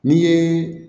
N'i ye